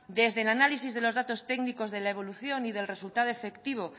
desde el análisis de los datos técnicos de la evolución y del resultado efectivo